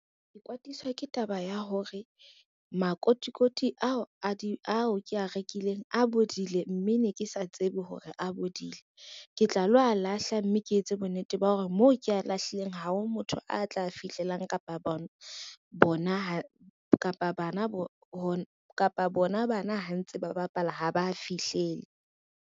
Ke kwatiswa ke taba ya hore, makotikoti ao kea rekileng a bodile mme ne ke sa tsebe hore a bodile, ke tla lo a lahla mme ke etse bonnete taba ya hore moo ko lahlileng ha ho motho a tla fihlelang kapa bona bana ha ntse ba bapala ha ba fihlele.